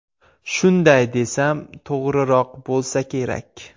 Shunday desam, to‘g‘riroq bo‘lsa kerak.